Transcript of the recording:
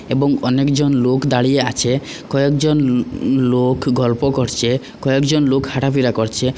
এবং অনেকজন লোক দাঁড়িয়ে আছে কয়েকজন উম লোক গল্প করচে কয়েকজন লোক হাঁটাফিরা করছে।